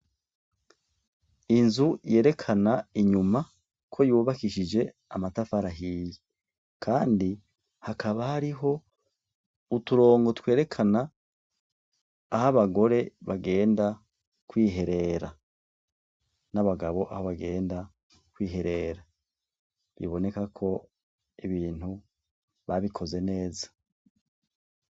Inzu yerekana inyuma ko yubakishije amatafa arahiye, kandi hakaba hariho uturongo twerekana aho abagore bagenda kwiherera n'abagabo aho bagenda kwiherera biboneka ko ibintu babikoze neza.